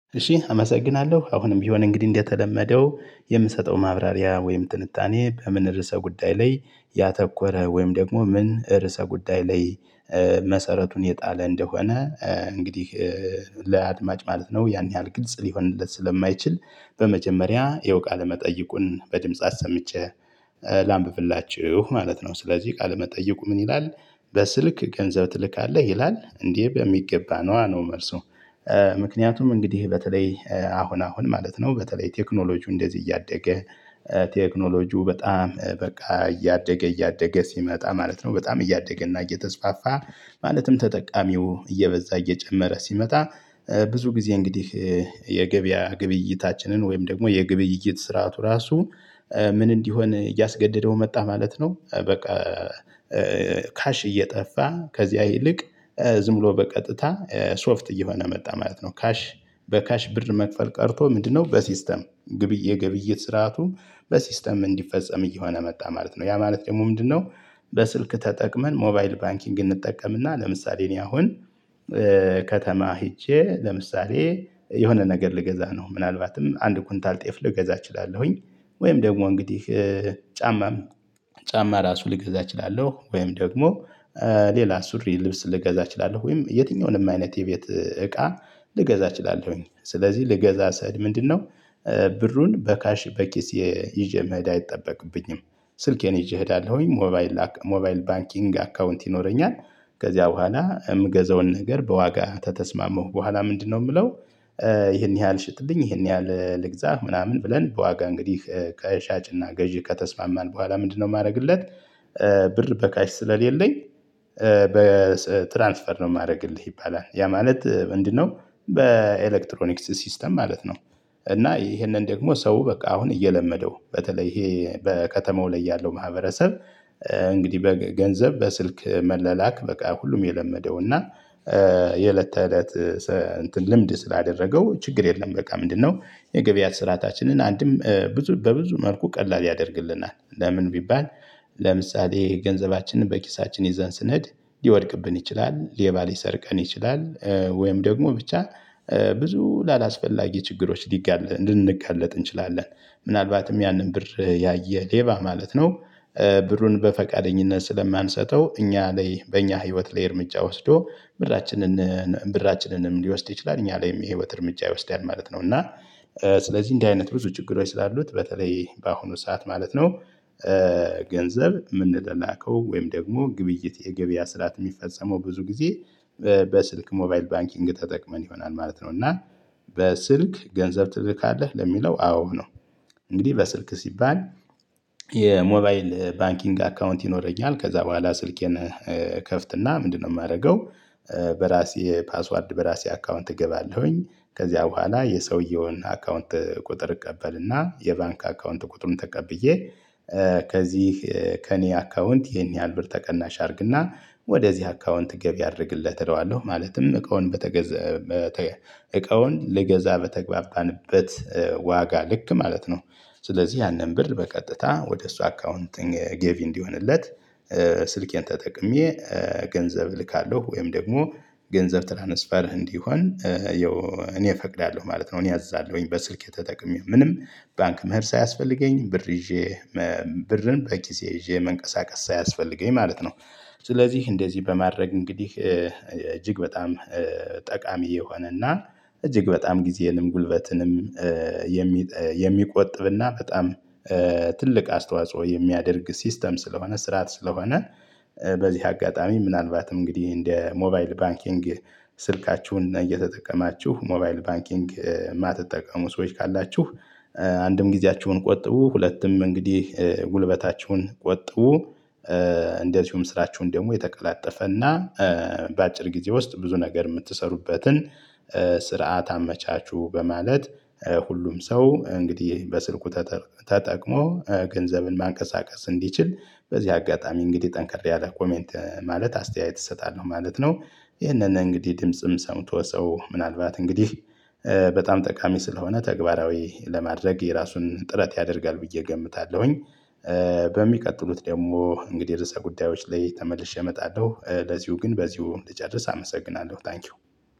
እሺ አመሰግናለሁ አሁንም ቢሆን እንግዲህ እንደተለመደው የምሰጠው ማብራሪያ ወይም ትንታኔ በምን ርዕሰ ጉዳይ ላይ ያተኮረ ወይም ደግሞ ምን ርዕሰ ጉዳይ ላይ መሰረቱን የጣለ እንደሆነ እንግዲህ ለአድማጭ ማለት ነው ያን ያህል ግልጽ ሊሆንለት ስለማይችል በመጀመሪያ ይሄው ቃለመጠየቁን በድምጽ አሰምጬ ላንብብላችሁ ማለት ነው ስለዚህ ቃል መጠየቁ ምን ይላል? በስልክ ገንዘብ ትልካለህ ይላል እንዴ በሚገባ ነዋ ነው መልሱ። ምክንያቱም እንግዲህ በተለይ አሁን አሁን ማለት ነው በተለይ ቴክኖሎጂው እንደዚህ እያደገ ቴክኖሎጂው በጣም በቃ እያደገ እያደገ ሲመጣ ማለት ነው በጣም እያደገ እና እየተስፋፋ ማለትም ተጠቃሚው እየበዛ እየጨመረ ሲመጣ ብዙ ጊዜ እንግዲህ የገበያ ግብይታችንን ወይም ደግሞ የግብይት ስርዓቱ ራሱ ምን እንዲሆን እያስገደደው መጣ ማለት ነው በቃ። ካሽ እየጠፋ ከዚያ ይልቅ ዝም ብሎ በቀጥታ ሶፍት እየሆነ መጣ ማለት ነው። ካሽ በካሽ ብር መክፈል ቀርቶ ምንድነው በሲስተም ግብይ የግብይት ስርዓቱ በሲስተም እንዲፈጸም እየሆነ መጣ ማለት ነው። ያ ማለት ደግሞ ምንድነው? በስልክ ተጠቅመን ሞባይል ባንኪንግን እንጠቀምና ለምሳሌ እኔ አሁን ከተማ ሄጄ ለምሳሌ የሆነ ነገር ልገዛ ነው ምናልባትም አንድ ኩንታል ጤፍ ልገዛ እችላለሁኝ። ወይም ደግሞ እንግዲህ ጫማም ጫማ ራሱ ልገዛ እችላለሁ። ወይም ደግሞ ሌላ ሱሪ ልብስ ልገዛ እችላለሁ። ወይም የትኛውንም አይነት የቤት እቃ ልገዛ እችላለሁኝ። ስለዚህ ልገዛ ስሄድ ምንድነው? ብሩን በካሽ በኪሴ ይዥ መሄድ አይጠበቅብኝም። ስልኬን ይዤ እሄዳለሁኝ ሞባይል ሞባይል ባንኪንግ አካውንት ይኖረኛል። ከዚያ በኋላ የምገዘውን ነገር በዋጋ ከተስማማሁ በኋላ ምንድነው የምለው? ይሄን ያህል ሽጥልኝ ይሄን ያህል ልግዛ ምናምን ብለን በዋጋ እንግዲህ ከሻጭና ገዢ ከተስማማን በኋላ ምንድነው የማደርግለት? ብር በካሽ ስለሌለኝ በትራንስፈር ነው የማደርግልህ ይባላል። ያ ማለት ምንድነው? በኤሌክትሮኒክስ ሲስተም ማለት ነው። እና ይሄንን ደግሞ ሰው በቃ አሁን እየለመደው በተለይ ይሄ በከተማው ላይ ያለው ማህበረሰብ። እንግዲህ በገንዘብ በስልክ መላላክ በቃ ሁሉም የለመደው እና የእለት ተእለት እንትን ልምድ ስላደረገው ችግር የለም። በቃ ምንድነው የገበያ ስርአታችንን አንድም ብዙ በብዙ መልኩ ቀላል ያደርግልናል። ለምን ቢባል? ለምሳሌ ገንዘባችንን በኪሳችን ይዘን ስንሄድ ሊወድቅብን ይችላል ሌባ ሊሰርቀን ይችላል ወይም ደግሞ ብቻ ብዙ ላላስፈላጊ ችግሮች ሊጋለጥ ልንጋለጥ እንችላለን። ምናልባትም ያንን ብር ያየ ሌባ ማለት ነው ብሩን በፈቃደኝነት ስለማንሰጠው እኛ ላይ በእኛ ህይወት ላይ እርምጃ ወስዶ ብራችንን ብራችንንም ሊወስድ ይችላል እኛ ላይም የህይወት እርምጃ ይወስዳል ማለት ነው። እና ስለዚህ እንዲህ አይነት ብዙ ችግር ስላሉት በተለይ በአሁኑ ሰዓት ማለት ነው። ገንዘብ የምንላላከው ወይም ደግሞ ግብይት የገበያ ስርዓት የሚፈጸመው ብዙ ጊዜ በስልክ ሞባይል ባንኪንግ ተጠቅመን ይሆናል ማለት ነው። እና በስልክ ገንዘብ ትልካለህ ለሚለው አዎ ነው። እንግዲህ በስልክ ሲባል የሞባይል ባንኪንግ አካውንት ይኖረኛል ከዛ በኋላ ስልኬን ከፍትና ምንድነው የማደርገው? በራሴ ፓስዋርድ በራሴ አካውንት እገባለሁኝ። ከዚያ በኋላ የሰውየውን አካውንት ቁጥር እቀበልና የባንክ አካውንት ቁጥሩን ተቀብዬ ከዚህ ከእኔ አካውንት ይሄን ያህል ብር ተቀናሽ አድርግና ወደዚህ አካውንት ገቢ አድርግለት እለዋለሁ ማለትም እቃውን በተገዛ እቃውን ልገዛ በተግባባንበት ዋጋ ልክ ማለት ነው። ስለዚህ ያንን ብር በቀጥታ ወደ እሷ አካውንቲንግ ገቢ እንዲሆንለት ስልኬን ተጠቅሜ ገንዘብ እልካለሁ ወይም ደግሞ ገንዘብ ትራንስፈር እንዲሆን ያው እኔ እፈቅዳለሁ ማለት ነው። እኔ አዝዛለሁኝ በስልክ ተጠቅሜ ምንም ባንክ መሄድ ሳያስፈልገኝ ብር ይዤ ብርን በኪሴ ይዤ መንቀሳቀስ ሳያስፈልገኝ ማለት ነው። ስለዚህ እንደዚህ በማድረግ እንግዲህ እጅግ በጣም ጠቃሚ የሆነና እጅግ በጣም ጊዜንም ጉልበትንም የሚቆጥብና በጣም ትልቅ አስተዋጽኦ የሚያደርግ ሲስተም ስለሆነ ስርዓት ስለሆነ። በዚህ አጋጣሚ ምናልባትም እንግዲህ እንደ ሞባይል ባንኪንግ ስልካችሁን እየተጠቀማችሁ ሞባይል ባንኪንግ የማትጠቀሙ ሰዎች ካላችሁ። አንድም ጊዜያችሁን ቆጥቡ ሁለትም እንግዲህ ጉልበታችሁን ቆጥቡ። እንደዚሁም ስራችሁን ደግሞ የተቀላጠፈና በአጭር ጊዜ ውስጥ ብዙ ነገር የምትሰሩበትን ስርዓት አመቻቹ። በማለት ሁሉም ሰው እንግዲህ በስልኩ ተጠቅሞ ገንዘብን ማንቀሳቀስ እንዲችል በዚህ አጋጣሚ እንግዲህ ጠንክሬ አለ ኮሜንት ማለት አስተያየት እሰጣለሁ ማለት ነው። ይህንን እንግዲህ ድምጽም ሰምቶ ሰው ምናልባት እንግዲህ በጣም ጠቃሚ ስለሆነ ተግባራዊ ለማድረግ የራሱን ጥረት ያደርጋል ብዬ እገምታለሁኝ። በሚቀጥሉት ደግሞ እንግዲህ ርዕሰ ጉዳዮች ላይ ተመልሼ እመጣለሁ ለዚሁ ግን በዚሁ ልጨርስ አመሰግናለሁ። ታንኪው።